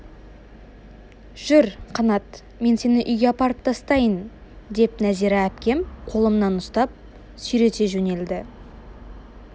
жүр қанат мен сені үйге апарып тастайын деп нәзира әпкем қолымнан ұстап сүйрете жөнелді